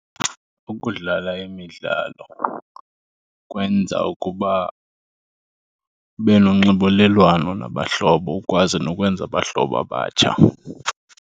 Ukudlala imidlalo kwenza ukuba ube nonxibelelwano nabahlobo ukwazi nokwenza abahlobo abatsha.